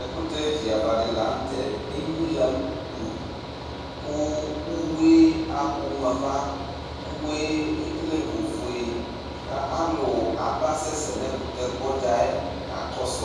Ɛkʋtɛ viava di lanʋ tɛ enyila gblʋʋ kʋ ʋwue akpɔ mʋ ava ʋwe ekele ofue kʋ alʋ aba sɛsɛ nʋ ɛkʋtɛgbɔ dzayɛ kakɔsʋ